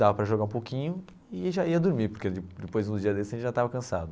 Dava para jogar um pouquinho e já ia dormir, porque depois no dia desses a gente já estava cansado.